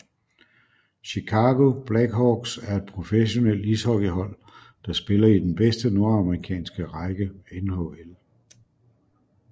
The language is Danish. Chicago Blackhawks er et professionelt ishockeyhold der spiller i den bedste nordamerikanske række NHL